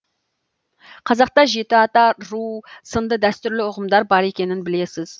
қазақта жеті ата ру сынды дәстүрлі ұғымдар бар екенін білесіз